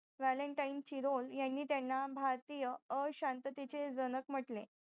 valantaine Chirol यांनी त्यांना भारतीय अशांततेचे जनक म्हंटले